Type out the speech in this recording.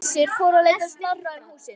Þeir Gissur fóru að leita Snorra um húsin.